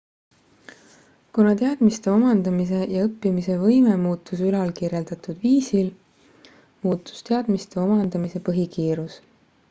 kuna teadmiste omandamise ja õppimise võime muutus ülalkirjeldatud viisil muutus teadmiste omandamise põhikiirus